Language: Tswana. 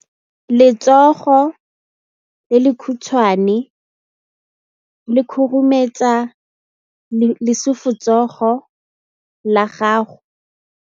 Letsogo le lekhutshwane le khurumetsa lesufutsogo la gago.